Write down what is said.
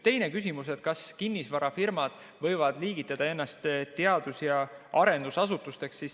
Teine küsimus, kas kinnisvarafirmad võivad liigitada ennast teadus- ja arendusasutusteks.